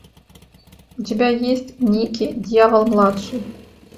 у тебя есть никки дьявол младший